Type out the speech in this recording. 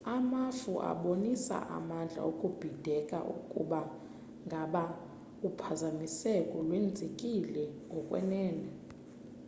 amafu abonisa amandla okubhideka ukuba ngaba uphazamiseko lwenzekile ngokwenene